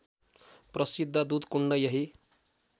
प्रशिद्ध दुधकुण्ड यही